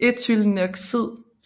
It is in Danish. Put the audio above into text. ethylenoxid